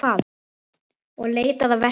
Og leitaði að veski sínu.